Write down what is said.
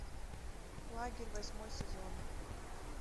лагерь восьмой сезон